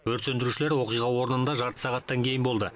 өрт сөндірушілер оқиға орнында жарты сағаттан кейін болды